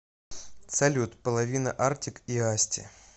салют половина артик и асти